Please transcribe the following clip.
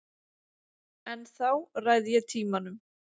Ennþá ræð ég tímanum.